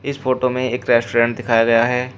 इस फोटो में एक रेस्टोरेंट दिखाया गया हैं।